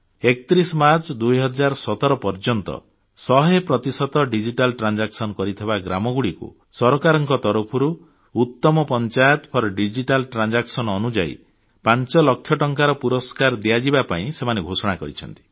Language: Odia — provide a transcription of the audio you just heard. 31 ମାର୍ଚ୍ଚ 2017 ପର୍ଯ୍ୟନ୍ତ 100 ପ୍ରତିଶତ ଡିଜିଟାଲ ଟ୍ରାନ୍ଜାକସନ୍ କରିଥିବା ଗ୍ରାମଗୁଡ଼ିକୁ ସରକାରଙ୍କ ତରଫରୁ ଉତ୍ତମ ଡିଜିଟାଲ ପଞ୍ଚାୟତ ସ୍କିମ ଅନୁଯାୟୀ ପାଞ୍ଚ ଲକ୍ଷ ଟଙ୍କାର ପୁରସ୍କାର ଦିଆଯିବା ପାଇଁ ସେମାନେ ଘୋଷଣା କରିଛନ୍ତି